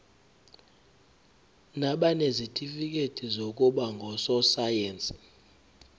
nabanezitifikedi zokuba ngososayense